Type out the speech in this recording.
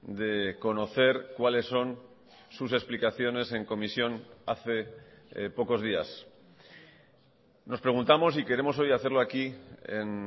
de conocer cuáles son sus explicaciones en comisión hace pocos días nos preguntamos y queremos hoy hacerlo aquí en